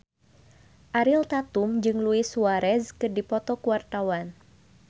Ariel Tatum jeung Luis Suarez keur dipoto ku wartawan